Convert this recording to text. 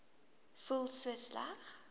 voel so sleg